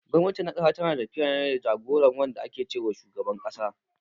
Gwamnati na ƙasa tana tafiya ne da jagora wanda ake ce wa shugaban ƙasa.